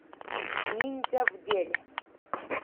ниндзя в деле